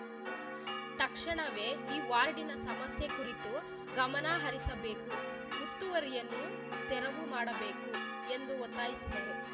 ತಕ್ಷಣವೇ ಈ ವಾರ್ಡಿನ ಸಮಸ್ಯೆ ಕುರಿತು ಗಮನ ಹರಿಸಬೇಕು ಉತ್ತುವರಿಯನ್ನು ತೆರವು ಮಾಡಬೇಕು ಎಂದು ಒತ್ತಾಯಿಸಿದರು